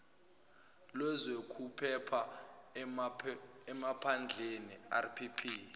lwezokuphepha emaphandleni rpp